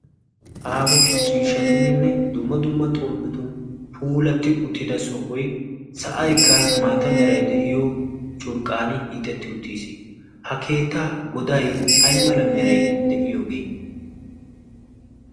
aaho ciishshatuuninne dumma dumma xomppetun puulatti uttida sohoy sa'aykka maata meray de'iyo curqqan hiixetti uttiis ha keettaa goday aymala meray de'iyoogee